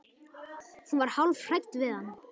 Hún var hálf hrædd við hann.